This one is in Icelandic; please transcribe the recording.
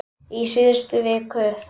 Í síðustu viku.